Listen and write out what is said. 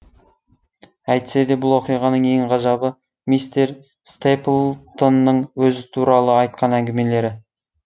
әйтсе де бұл оқиғаның ең ғажабы мистер стэплтонның өзі туралы айтқан әңгімелері